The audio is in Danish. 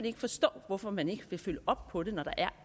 ikke forstå hvorfor man ikke vil følge op på det når der er